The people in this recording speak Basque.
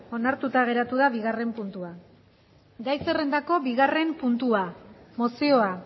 onartuta geratu da bigarren puntua gai zerrendako bigarren puntua mozioa